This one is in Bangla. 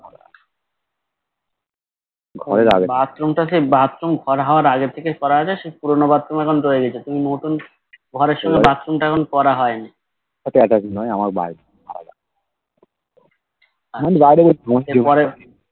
Bathroom টা ঠিক Bathroom ঘর হওয়ার আগে থেকে করা যায় সে পুরোনো Bathroom এখিনরয়ে গেছে তুমি নতুন ঘরের সাথে Bathroom টা এখনও করা হয়নি